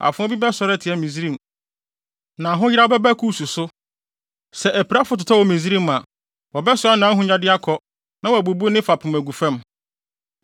Afoa bi bɛsɔre atia Misraim, na ahoyeraw bɛba Kus so. Sɛ apirafo totɔ wɔ Misraim a wɔbɛsoa nʼahonyade akɔ na wɔabubu ne fapem agu fam.